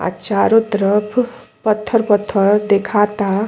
आ चारों तरफ पत्थर पत्थर देखाता।